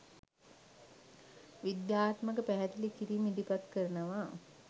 විද්‍යාත්මක පැහැදිළි කිරිම් ඉදිරිපත් කරනව.